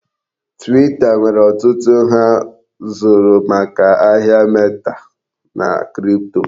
Twita nwere ọtụtụ ndi ha zụrụ maka ahịa meta na kripto.